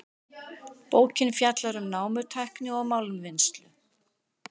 Bókin fjallar um námutækni og málmvinnslu.